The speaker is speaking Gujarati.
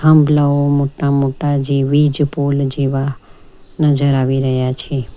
થાંભલાઓ મોટા મોટા જે વીજ પુલ જેવા નજર આવી રહ્યા છે.